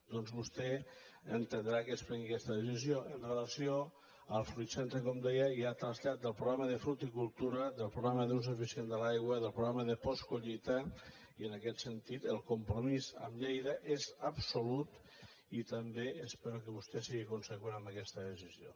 doncs vostè entendrà que es prengui aquesta decisió amb relació al fruitcentre com deia i al trasllat del programa de fructicultura del programa d’ús eficient de l’aigua i del programa de postcollita i en aquest sentit el compromís amb lleida és absolut i també espero que vostè sigui conseqüent amb aquesta decisió